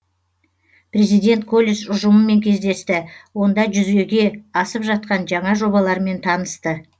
президент колледж ұжымымен кездесті онда жүзеге асып жатқан жаңа жобалармен танысты